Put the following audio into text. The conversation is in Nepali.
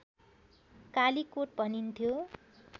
कालीकोट भनिन्थ्यो